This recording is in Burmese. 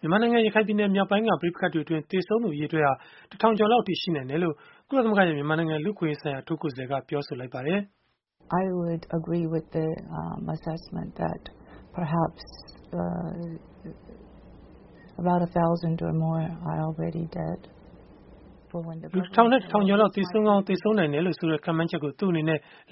မြန်မာနိုင်ငံ ရခိုင်ပြည်နယ်မြောက်ပိုင်းက ပဋိပက္ခတွေအတွင်း သေဆုံးသူ အရေအတွက်ဟာ တထောင်ကျော်လောက်အထိ ရှိနိုင်တယ်လို့ ကုလသမဂ္ဂရဲ့ မြန်မာနိုင်ငံလူ့အခွင့်အရေးဆိုင်ရာ အထူးကိုယ်စားလှယ်က ပြောဆိုလိုက်ပါတယ်။ လူတထောင်နဲ့ တထောင်ကျော်လောက် သေဆုံးကောင်း သေဆုံးနိုင်တယ်လို့ဆိုတဲ့ ခန့်မှန်းချက်ကို